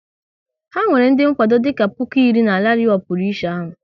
Ha nwere ndị nkwado dịka puku iri na rali ọ pụrụ iche ahụ